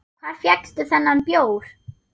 Hvar fékkstu þennan bjór?